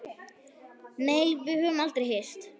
Nei, við höfum aldrei hist.